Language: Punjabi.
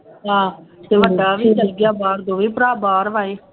ਹਾਂ ਵੱਡਾ ਵੀ ਚੱਲ ਗਿਆ ਬਾਹਰ, ਦੋਵੇਂ ਭਰਾ ਬਾਹਰ ਵਾ ਇਹ